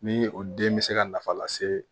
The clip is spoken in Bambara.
Ni o den bɛ se ka nafa lase